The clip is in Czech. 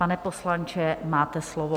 Pane poslanče, máte slovo.